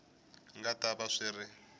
nga ta va swi ri